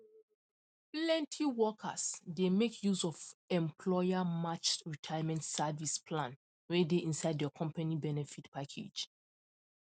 plenty workers dey make use of employermatched retirement savings plan wey dey inside their company benefit package